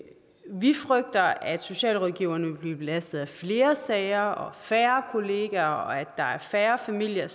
vi frygter at socialrådgiverne vil blive belastet af flere sager og færre kollegaer og at færre familier